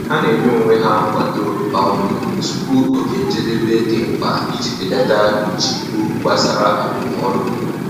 Ha na-enye onwe ha nkwado um tupu oge njedebe dị mkpa iji belata nchegbu gbasara arụmọrụ.